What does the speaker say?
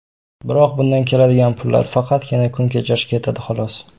Biroq bundan keladigan pullar faqatgina kun kechirishga yetardi, xolos.